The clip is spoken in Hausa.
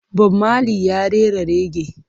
Bob Marley ya rera rege.